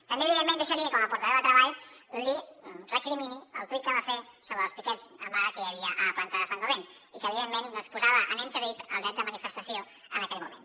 també evidentment deixi que com a portaveu de treball li recrimini el tuit que va fer sobre els piquets en vaga que hi havia a la planta de saint gobain i que evidentment posava en entredit el dret de manifestació en aquell moment